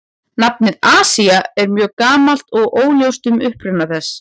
Nafnið Asía er mjög gamalt og óljóst um uppruna þess.